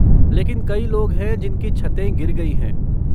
लेकिन कई लोग हैं जिनकी छतें गिर गई हैं।